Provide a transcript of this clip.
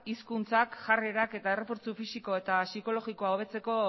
hizkuntzak jarrerak eta errefortzu fisiko eta psikologikoa hobetzeko